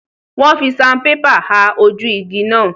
Wọ́n fi sanpépà ha ojú igi náà.